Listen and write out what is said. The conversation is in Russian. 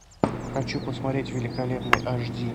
хочу посмотреть великолепный аш ди